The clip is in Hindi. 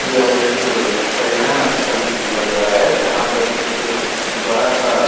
यह एक पर्यटन स्थल लग रहा है जहाँ पर एक बड़ा-सा --